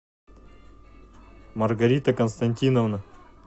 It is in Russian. маргарита константиновна